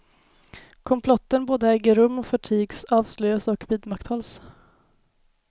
Komplotten både äger rum och förtigs, avslöjas och vidmakthålls.